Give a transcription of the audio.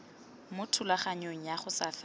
mo thulaganyong ya go faela